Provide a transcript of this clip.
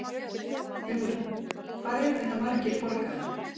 Hugrún: Hvað eru þetta margir borgarar?